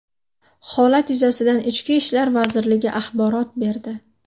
Holat yuzasidan Ichki ishlar vazirligi axborot berdi .